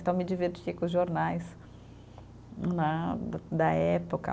Então me divertia com os jornais né, da da época.